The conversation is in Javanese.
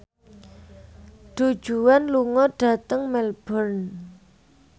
Du Juan lunga dhateng Melbourne